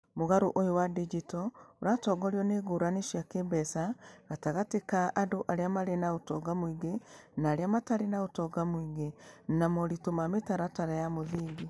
Mũgarũ ũyũ wa digital ũratongorio nĩ ngũrani cia kĩĩmbeca gatagatĩ ka andũ arĩa marĩ na ũtonga mũingĩ na arĩa matarĩ na ũtonga mũingĩ, na moritũ ma mĩtaratara ya mũthingi.